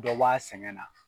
Dɔ bɔ a sɛgɛn na.